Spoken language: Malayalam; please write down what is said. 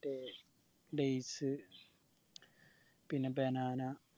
dates പിന്നെ banana